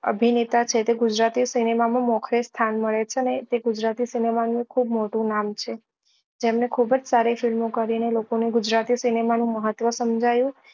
અભિનેતા છે તે ગુજરાતી સિનેમા માં મોખરે સ્થાન મળે છે અને તે ગુજરાતી સિનેમા નું ખુબ જ મોટું નામ છે જેમને ખુબ સારી film ઓ કરી ને લોકો ને ગુજરાતી સિનેમા નું મહત્વ સમજાવ્યું